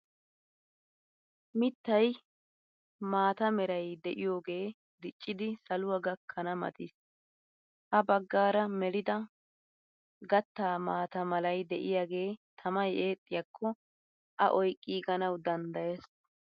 Mittay maataa meray de'iyogee diccidi saluwa gakkana mattiis ha baggaara melida gatta maata malay de'iyagee tammay eexxiyakko a oyqqiganwu danddayees.